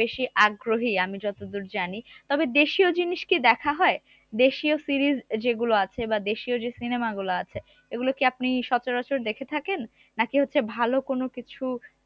বেশি আগ্রহী আমি যতদূর জানি তবে দেশীয় জিনিস কি দেখা হয় দেশীয় series আহ যেগুলো আছে বা দেশীয় যে cinema গুলো আছে এগুলো কি আপনি সচরাচর দেখে থাকেন নাকি হচ্ছে ভাল কোন কিছু